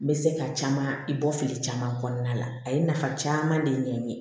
N bɛ se ka caman i bɔ fili caman kɔnɔna la a ye nafa caman de ɲɛ n ye